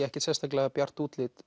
ekkert sérstaklega bjart útlit